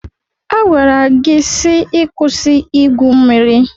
A gwara gị si ịkwụsị igwu mmiri.